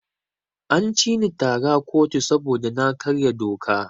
An cini tara a kotu saboda na karya doka.